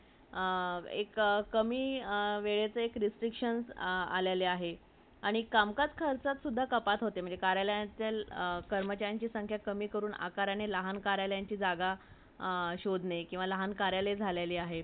hello everyone entertainment व व मध्ये बरच काही बगु शकतो आपण वेग